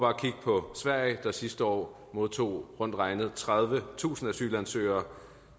at kigge på sverige der sidste år modtog rundt regnet tredivetusind asylansøgere